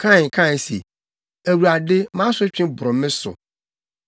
Kain kae se, “ Awurade mʼasotwe boro me so.